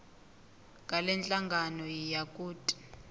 ngalenhlangano yiya kut